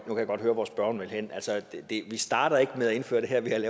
høre hvor spørgeren vil hen altså vi starter ikke med at indføre det her ved at